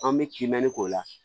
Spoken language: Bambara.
An bɛ kimɛni k'o la